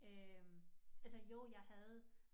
Øh altså jo jeg havde